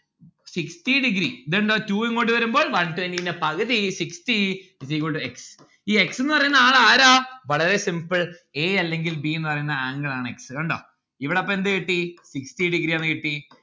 sixty degree ഇത് എന്താ two ഇങ്ങോട്ട് വരുമ്പോൾ one twenty ന്റെ പകുതി sixty is equal to x ഈ x ന്ന് പറയുന്നാൾ ആരാ വളരെ simple. a അല്ലെങ്കിൽ b എന്ന് പറയുന്ന angle ആണ് x. ഇത് കണ്ടോ? ഇവിടെ അപ്പോ എന്ത് കിട്ടി? sixty degree ആണ് കിട്ടി